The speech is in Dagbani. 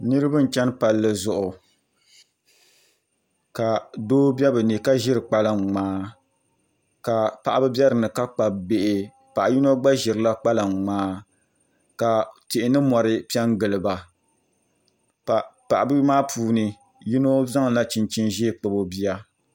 Niraba n chɛni palli zuɣu ka doo bɛ bi ni ka ʒiri kpalaŋ ŋmaa ka paɣaba bɛ dinni ka kpabi bihi paɣa yino gba ʒirila kpalaŋ ŋmaa ka tihi ni mori piɛ n giliba ka paɣaba maa puuni yino zaŋla chinchin ʒiɛ kpabi o bia